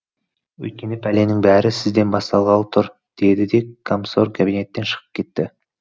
өйткені пәленің бәрі сізден басталғалы тұр деді де комсорг кабинеттен шығып кетті